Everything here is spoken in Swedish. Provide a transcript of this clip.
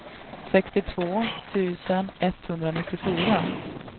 sextiotvå tusen etthundranittiofyra